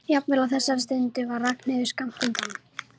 Jafnvel á þessari stundu var Ragnhildur skammt undan.